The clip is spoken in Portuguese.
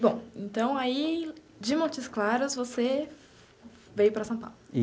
Bom, então aí de Montes Claros você veio para São Paulo.